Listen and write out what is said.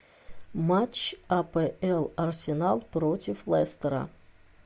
матч апл арсенал против лестера